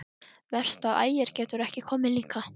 Verst að Ægir getur ekki komið líka.